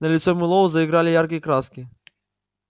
на лице мэллоу заиграли яркие краски